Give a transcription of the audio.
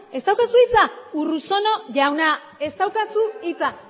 ez daukazu hitza urruzuno jauna ez daukazu hitza